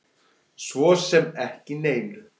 Svo sem ekki neinu.